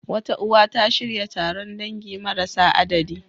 Wata uwa, ta shirya taron dangi marasa adadi.